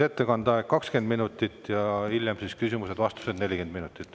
Ettekandeks on aega 20 minutit ja hilisemateks küsimusteks-vastusteks 40 minutit.